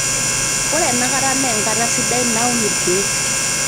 ore ena kata naa enkata sidai nauni ilkeek